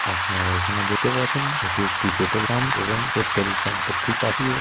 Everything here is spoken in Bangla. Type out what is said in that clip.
আপনারা এখানে দেখতে পাচ্ছেন এটি একটি পেট্রোল পাম্প এবং পেট্রোল পাম্প এর ঠিক পাশেই--